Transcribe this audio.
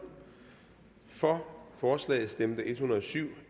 for forslaget stemte en hundrede og syv